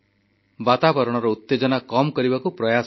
ବାତାବରଣର ଉତେଜନା କମ୍ କରିବାକୁ ପ୍ରୟାସ କଲେ